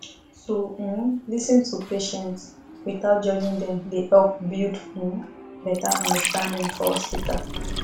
to um lis ten to patients without judging dem dey help build um better understanding for hospital